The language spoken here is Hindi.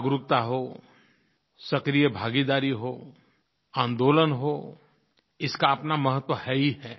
जागरूकता हो सक्रिय भागीदारी हो आंदोलन हो इसका अपना महत्व है ही है